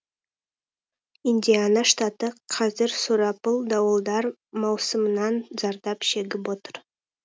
индиана штаты қазір сұрапыл дауылдар маусымынан зардап шегіп отыр